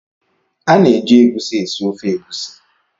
A na-eji egusi esi ofe egusi.